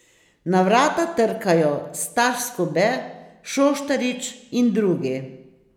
Na vrata trkajo Staš Skube, Šoštarič in drugi.